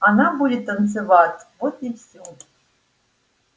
она будет танцевать вот и всё